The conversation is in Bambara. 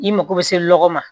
I mago bɛ se lɔgɔ ma